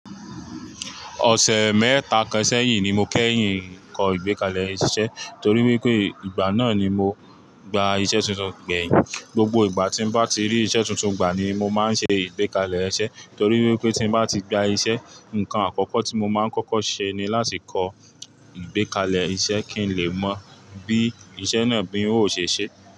Ọ̀sẹ̀ mẹ́ta kan sẹ́yìn ni mo kẹ́yìn kọ ìgbékalẹ̀ iṣẹ́ torí wípé ìgbà náà ni mo gba iṣẹ́ tuntun gbẹ̀yìn. Gbogbo ìgbà tí bá ti rí iṣẹ́ tuntun gbà ni mo máa ń ṣe ìgbékalẹ̀ iṣẹ́ torí wípé tí bá ti gba iṣẹ́, ǹkan àkọ́kọ́ tí mo máa ń kọ́kọ́ ṣe ni láti kọ ìgbékalẹ̀ iṣẹ́ kí n lè mọ̀ bí iṣẹ́ náà bí ó ṣe ṣe.